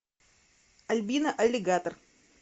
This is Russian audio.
альбина аллигатор